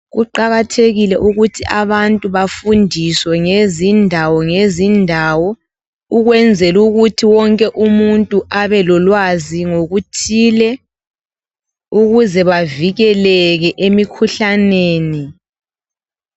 Kuqakathekile ukuthi abantu bafundiswe ngezindawo ngezindawo ukwenzela ukuthi wonke umuntu abelolwazi ngokuthile ukuze bavikelele emikhuhlaneni